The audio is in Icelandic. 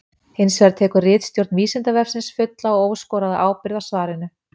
Hins vegar tekur ritstjórn Vísindavefsins fulla og óskoraða ábyrgð á svarinu.